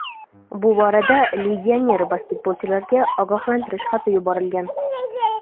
Bu borada legioner basketbolchilarga ogohlantirish xati yuborilgan.